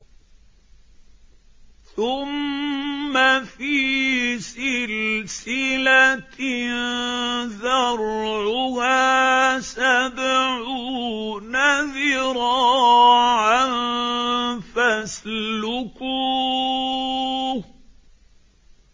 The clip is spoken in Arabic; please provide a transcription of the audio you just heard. ثُمَّ فِي سِلْسِلَةٍ ذَرْعُهَا سَبْعُونَ ذِرَاعًا فَاسْلُكُوهُ